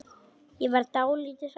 Ég verð dálítið hrædd.